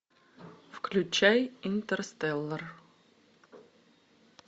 включай интерстеллар